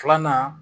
Filanan